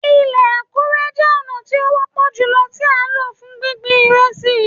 Ilẹ̀ àkùrọ̀ jẹ́ ọ̀nà tí ó wọ́pọ̀ jùlọ tí a lò fún gbíngbin ìrẹsì.